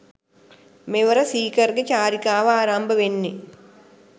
මෙවර සීකර්ගෙ චාරිකාව ආරම්භවෙන්නෙ